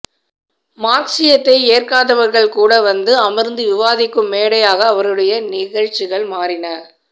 மார்க்ஸியத்தை ஏற்காதவர்கள் கூட வந்து அமர்ந்து விவாதிக்கும் மேடையாக அவருடைய நிகழ்ச்சிகள் மாறின